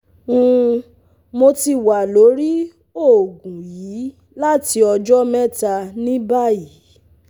um Mo ti wa lori oogun yii lati ọjọ mẹta ni bayi